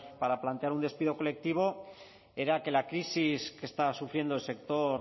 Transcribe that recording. para plantear un despido colectivo era que la crisis que está sufriendo el sector